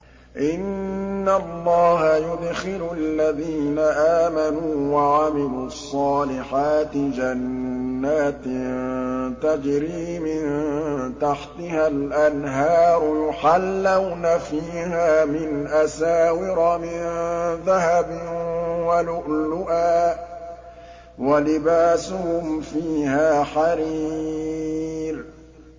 إِنَّ اللَّهَ يُدْخِلُ الَّذِينَ آمَنُوا وَعَمِلُوا الصَّالِحَاتِ جَنَّاتٍ تَجْرِي مِن تَحْتِهَا الْأَنْهَارُ يُحَلَّوْنَ فِيهَا مِنْ أَسَاوِرَ مِن ذَهَبٍ وَلُؤْلُؤًا ۖ وَلِبَاسُهُمْ فِيهَا حَرِيرٌ